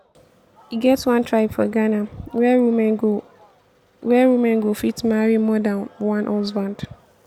e get one tribe for ghana where woman go where woman go fit marry more dan one husband